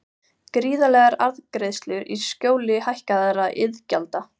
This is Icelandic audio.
Gríðarlegar arðgreiðslur í skjóli hækkaðra iðgjalda